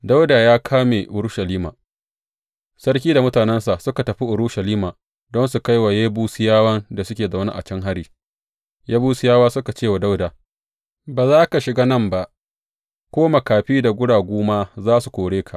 Dawuda ya kame Urushalima Sarki da mutanensa suka tafi Urushalima don su kai wa Yebusiyawan da suke zaune a can hari, Yebusiyawa suka ce wa Dawuda, Ba za ka shiga nan ba; ko makafi da guragu kaɗai ma za su kore ka.